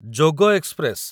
ଯୋଗ express